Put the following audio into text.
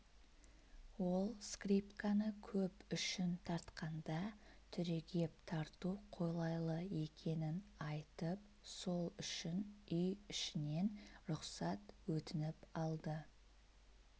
ол скрипканы көп үшін тартқанда түрегеп тарту қолайлы екенін айтып сол үшін үй ішінен рұқсат өтініп алды